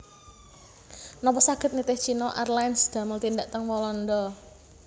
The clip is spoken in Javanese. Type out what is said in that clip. Nopo saget nitih China Airlines damel tindak teng Walanda